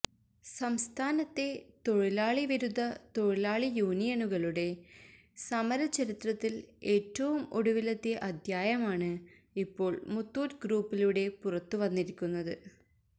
സംസ്ഥാനത്തെ തൊഴിലാളി വിരുദ്ധ തൊഴിലാളി യൂണിയനുകളുടെ സമര ചരിത്രത്തിൽ ഏറ്റവും ഒടുവിലത്തെ അദ്ധ്യായമാണ് ഇപ്പോൾ മുത്തൂറ്റ് ഗ്രൂപ്പിലൂടെ പുറത്ത് വന്നിരിക്കുന്നത്